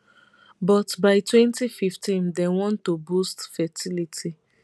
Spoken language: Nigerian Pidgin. but by 2015 dem want to boost fertility